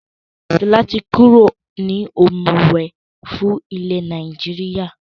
Sọlá tí kúrò ní ọ̀mùwẹ̀ fún ilẹ̀ Nàìjíríà.